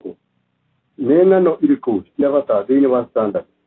Nĩ ng'ano irĩkũ cia bata thĩinĩ wa standard?